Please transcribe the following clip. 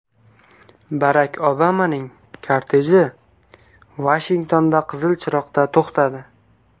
Barak Obamaning korteji Vashingtonda qizil chiroqda to‘xtadi.